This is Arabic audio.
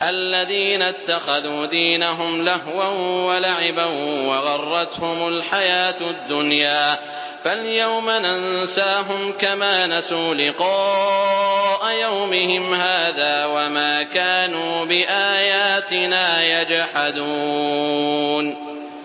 الَّذِينَ اتَّخَذُوا دِينَهُمْ لَهْوًا وَلَعِبًا وَغَرَّتْهُمُ الْحَيَاةُ الدُّنْيَا ۚ فَالْيَوْمَ نَنسَاهُمْ كَمَا نَسُوا لِقَاءَ يَوْمِهِمْ هَٰذَا وَمَا كَانُوا بِآيَاتِنَا يَجْحَدُونَ